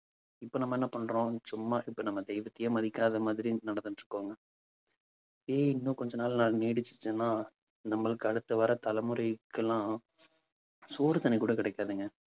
இப்ப நம்ம என்ன பண்றோம் சும்மா இப்ப நம்ம தெய்வத்தையே மதிக்காத மாதிரி நடந்துட்டு இருக்கோங்க. ஏன் இன்னும் கொஞ்ச நாள்ல நான் நீடிச்சுட்டேன்னா நம்மளுக்கு அடுத்து வர்ற தலைமுறைக்கு எல்லாம் சோறு தண்ணி கூட கிடைக்காதுங்க.